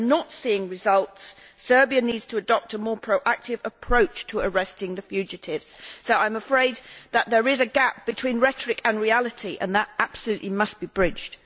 We are not seeing results. Serbia needs to adopt a more proactive approach to arresting the fugitives, so I am afraid that there is a gap between rhetoric and reality, and that gap absolutely must be bridged.